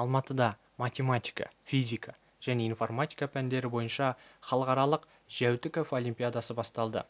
алматыда математика физика және информатика пәндері бойынша халықаралық жәутіков олимпиадасы басталды